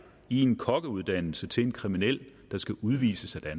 i en kokkeuddannelse til en kriminel der skal udvises af